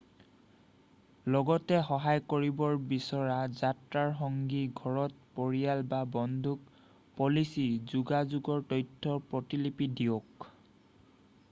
লগতে সহায় কৰিব বিচৰা যাত্ৰাৰ সংগী ঘৰত পৰিয়াল বা বন্ধুক পলিচী/যোগাযোগৰ তথ্যৰ প্ৰতিলিপি দিয়ক।